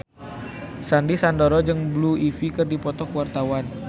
Sandy Sandoro jeung Blue Ivy keur dipoto ku wartawan